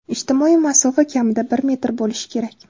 Ijtimoiy masofa kamida bir metr bo‘lishi kerak.